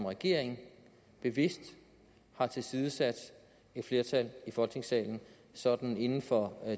regering bevidst har tilsidesat et flertal i folketingssalen sådan inden for